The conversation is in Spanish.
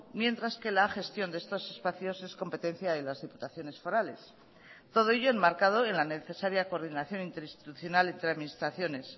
mientras que la gestión de estos espacios es competencia de las diputaciones forales todo ello enmarcado en la necesaria coordinación interinstitucional entre administraciones